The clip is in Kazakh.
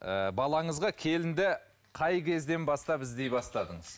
ыыы балаңызға келінді қай кезден бастап іздей бастадыңыз